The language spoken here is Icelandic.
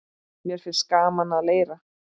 Mér finnst gaman að leira.